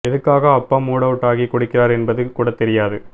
எதுக்காக அப்பா மூடு அவுட்டாகி குடிக்கிறார் என்பது கூடத் தெரியாது